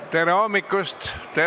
Tere hommikust!